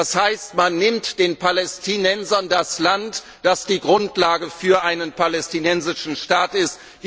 Das heißt, man nimmt den Palästinensern das Land, das die Grundlage für einen palästinensischen Staat ist.